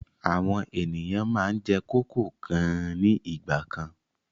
Àwọn ènìyàn máa ń jẹ kókò gan nígbà kan.